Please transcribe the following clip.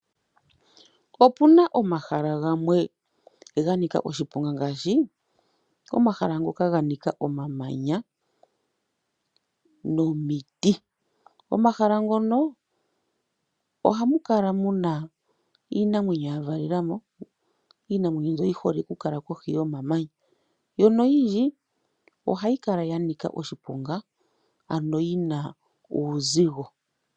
Opuna omahala gamwe ganika oshiponga ngaashi omahala ngoka gena omamanya nomiti. Omahala ngoka ohamu kala muna iinamweyo yavalela mo mbyoka yihole okukala kohi yomamanya, noyindji ohayi kala yanika oshiponga ano yina uuzigo.